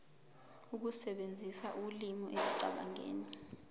ukusebenzisa ulimi ekucabangeni